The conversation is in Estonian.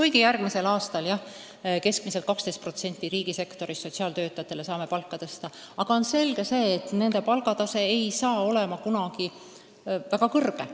Jah, järgmisel aastal me saame riigisektoris keskmiselt 12% sotsiaaltöötajate palka tõsta, aga on selge, et nende palgad ei saa kunagi olema väga kõrged.